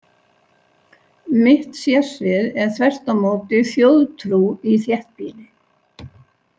Mitt sérsvið er þvert á móti þjóðtrú í þéttbýli.